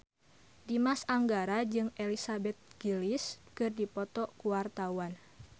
Dimas Anggara jeung Elizabeth Gillies keur dipoto ku wartawan